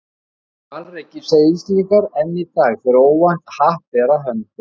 Hvalreki, segja Íslendingar enn í dag, þegar óvænt happ ber að höndum.